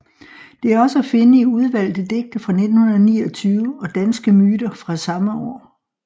Det er også at finde i Udvalgte Digte fra 1929 og Danske Myter fra samme år